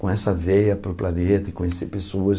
com essa veia para o planeta e conhecer pessoas.